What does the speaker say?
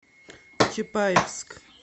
чапаевск